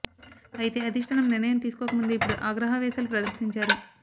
అయితే అధిష్టానం నిర్ణయం తీసుకోక ముందే ఇప్పుడు ఆగ్రహా వేశాలు ప్రదర్శించారు